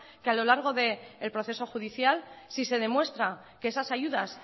que a lo largo del proceso judicial si se demuestra que esas ayudas